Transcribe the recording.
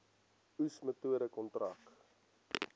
oes metode kontrak